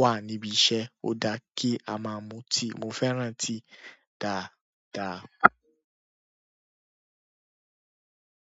wà níbi iṣẹ́ ó dá kí a máa mu tíì. Mo fẹ́ràn tíì dáadáa.